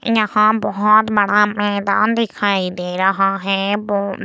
यहाँ बहोत बड़ा मैदान दिखाई दे रहा है बो --